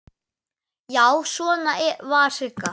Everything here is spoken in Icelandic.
Já, svona var Sigga!